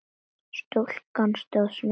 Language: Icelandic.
Stúlkan stóð snöggt á fætur.